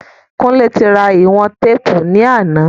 Kúnlé ti ra ìwọ̀n téèpù ní àná